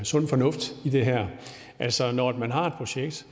sund fornuft i det her altså når man har et projekt